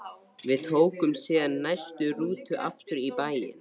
Við tókum síðan næstu rútu aftur í bæinn.